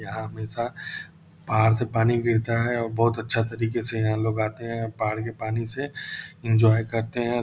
यहाँ हमेशा पहाड़ से पानी गिरता है और बहुत अच्छा तरीके से यहाँ लोग आते हैं पहाड़ के पानी से इंजॉय करते हैं।